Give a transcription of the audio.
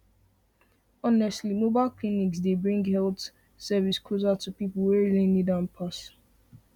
honestly mobile clinics dey bring health service closer to the people wey really need am pass